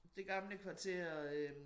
Det gamle kvarter øh